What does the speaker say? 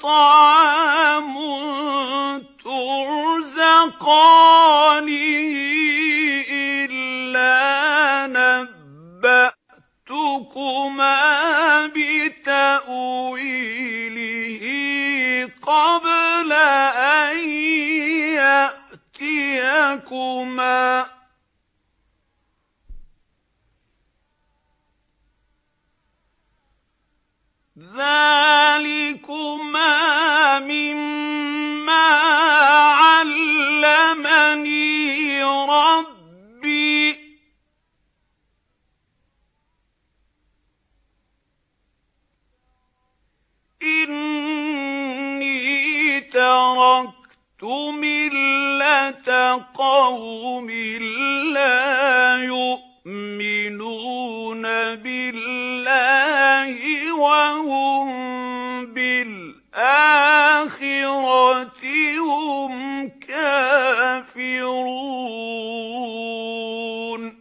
طَعَامٌ تُرْزَقَانِهِ إِلَّا نَبَّأْتُكُمَا بِتَأْوِيلِهِ قَبْلَ أَن يَأْتِيَكُمَا ۚ ذَٰلِكُمَا مِمَّا عَلَّمَنِي رَبِّي ۚ إِنِّي تَرَكْتُ مِلَّةَ قَوْمٍ لَّا يُؤْمِنُونَ بِاللَّهِ وَهُم بِالْآخِرَةِ هُمْ كَافِرُونَ